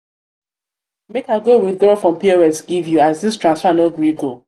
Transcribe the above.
make i go withraw from pos give you as this transfer no gree go.